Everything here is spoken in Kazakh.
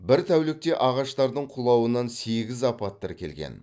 бір тәулікте ағаштардың құлауынан сегіз апат тіркелген